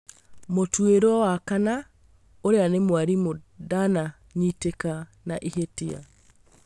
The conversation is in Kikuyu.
Mũtuĩrwo wa kana, ũrĩa nĩ mwarimo ndananyitĩka na ihĩtia